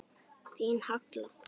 Þín, Halla.